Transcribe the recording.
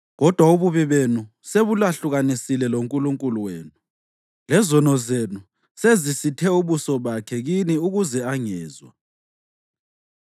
Kodwa ububi benu sebulahlukanise loNkulunkulu wenu; lezono zenu sezisithe ubuso bakhe kini ukuze angezwa.